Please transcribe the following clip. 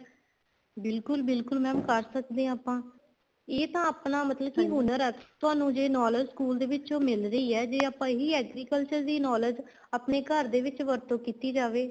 ਬਿਲਕੁਲ ਬਿਲਕੁਲ mam ਕਰ ਸਕਦੇ ਹਾਂ ਆਪਾਂ ਇਹ ਤਾਂ ਆਪਣਾ ਮਤਲਬ ਕੀ ਹੁਨਰ ਆ ਤੁਹਾਨੂੰ ਜ਼ੇ knowledge school ਚੋ ਮਿਲ ਰਹੀ ਆ ਜ਼ੇ ਆਪਾਂ ਇਹੀ agriculture ਦੀ knowledge ਆਪਣੇ ਘਰ ਦੇ ਵਿੱਚ ਵਰਤੋ ਕੀਤੀ ਜਾਵੇ